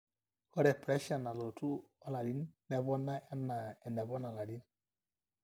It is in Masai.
ore pressure nalotu olarin nepona enaa enepona ilarin